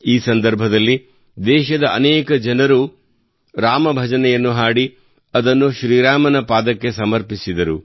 ಈ ಸಂದರ್ಭದಲ್ಲಿ ದೇಶದ ಅನೇಕ ಜನರು ರಾಮ ಭಜನೆಯನ್ನು ಹಾಡಿ ಅದನ್ನು ಶ್ರೀರಾಮನ ಪಾದಕ್ಕೆ ಸಮರ್ಪಿಸಿದರು